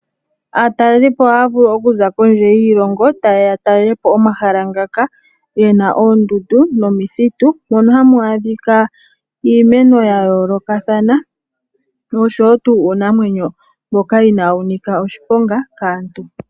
Aatalelipo ohaya vulu okuza kondje yiilongo ta yeya ya talelepo omahala ngaka ge na oondundu nomithitu mono hamu adhika iimeno ya yoolokathana noshowo tuu uunamwenyo mboka inawu nika oshiponga kaantu.